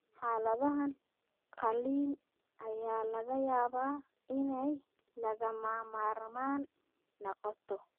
Xaaladahan, qalliin ayaa laga yaabaa inay lagama maarmaan noqoto.